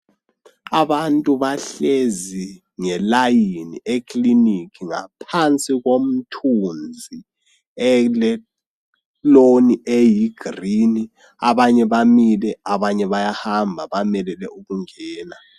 Abantu bahlezi ngelayini eklilinika ngaphansi komthunzi eleloni eyi girini abanye bamile abanye bayahamba bamelele ukungena.